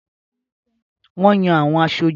Wọ́n Yan àwọn aṣojú.